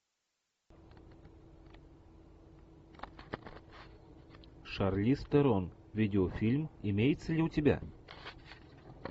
шарлиз терон видеофильм имеется ли у тебя